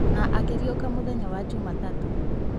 Na akĩriũka mũthenya wa jumatatũ